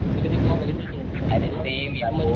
मी कधी गोवा बघितलंच नाही कस असत,